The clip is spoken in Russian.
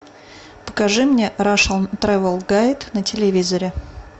покажи мне рашн трэвел гайд на телевизоре